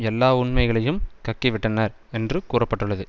எல்லா உண்மைகளையும் கக்கிவிட்டனர் என்று கூற பட்டுள்ளது